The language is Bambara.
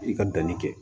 I ka danni kɛ